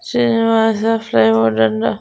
Srinivasa plywood అని రా.